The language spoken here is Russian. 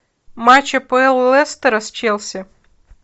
матч апл лестера с челси